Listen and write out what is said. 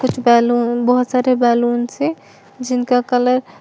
कुछ बैलून बहुत सारे बैलून से जिनका कलर --